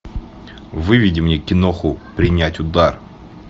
выведи мне киноху принять удар